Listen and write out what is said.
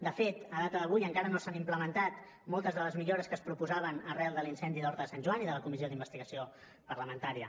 de fet a data d’avui encara no s’han implementat moltes de les millores que es proposaven arran de l’incendi d’horta de sant joan i de la comissió d’investigació parlamentària